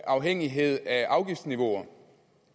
afhængighed af afgiftsniveauer